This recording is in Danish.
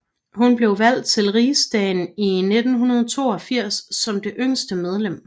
Hun blev valgt til Riksdagen i 1982 som det yngste medlem